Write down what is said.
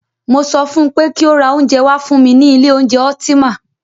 Mo sọ fún pé kí o ra oúnjẹ wá fún mí ní ilé oúnjẹ Ultima!